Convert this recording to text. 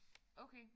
Okay